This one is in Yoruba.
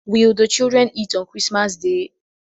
Will the children eat on christmas day?